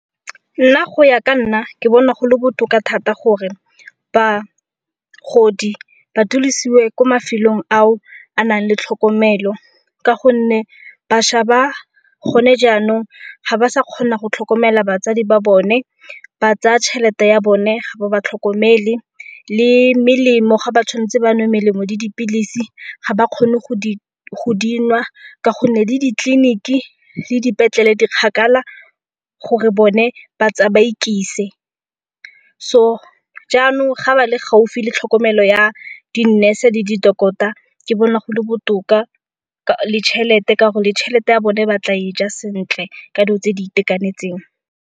Nna go ya ka nna ke bona go le botoka thata gore bagodi ba dulisiwe ko mafelong ao a nang le tlhokomelo ka gonne bašwa ba go ne jaanong ga ba sa kgona go tlhokomela batsadi ba bone, ba tsaya tšhelete ya bone ga ba ba tlhokomele le melemo ga ba tshwan'tse banwe melemo le dipilisi ga ba kgone go dinwa ka gonne le ditleliniki le dipetlele di kgakala gore bone ba ikise. So jaanong ga ba le gaufi le tlhokomelo ya di nurse-e le di-doctor ke bona go le botoka le tšhelete ka gore tšhelete ya bone batla e ja sentle ka dilo tse di itekanetseng.